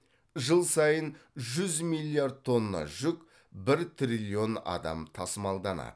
жыл сайын жүз миллиард тонна жүк бір триллион адам тасымалданады